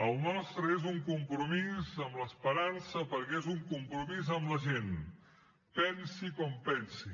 el nostre és un compromís amb l’esperança perquè és un compromís amb la gent pensi com pensi